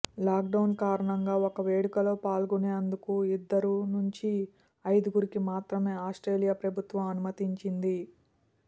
lockdown కారణంగా ఒక వేడుకలో పాల్గొనేందుకు ఇద్దరు నుంచి ఐదుగురికి మాత్రమే ఆస్ట్రేలియా ప్రభుత్వం అనుమతినిచ్చింది